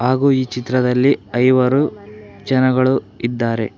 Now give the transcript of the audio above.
ಹಾಗೂ ಈ ಚಿತ್ರದಲ್ಲಿ ಐವರು ಜನಗಳು ಇದ್ದಾರೆ.